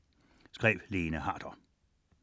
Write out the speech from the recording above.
Af Lene Harder